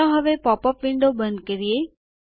ચાલો હવે pop up window બંધ કરીએ